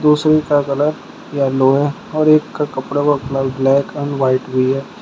दूसरी का colour yellow है और एक का कपड़ा वपड़ा ब्लैक एंड व्हाइट भी है।